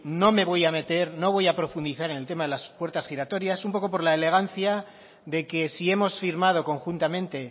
no me voy a meter no voy a profundizar en el tema de la puertas giratorias un poco por la elegancia de que si hemos firmado conjuntamente